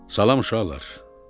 "Salam, uşaqlar!"